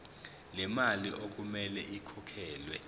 lemali okumele ikhokhelwe